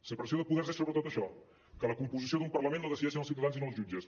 separació de poders és sobretot això que la composició d’un parlament la decideixen els ciutadans i no els jutges